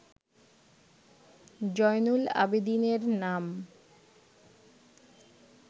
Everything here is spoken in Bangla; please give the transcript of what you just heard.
জয়নুল আবেদিনের নাম